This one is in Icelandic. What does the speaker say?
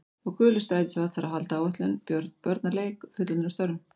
Og gulur strætisvagn þarf að halda áætlun, börn að leik, fullorðnir að störfum.